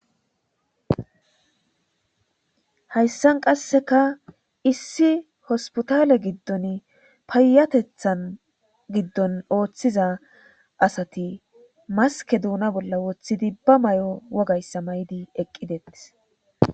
Hayssan qasseka issi hospitale giddon payyatetha giddon oothiza asati maske duuna bolla woththidi ba mayo wogayssa mayidi eqqidetes.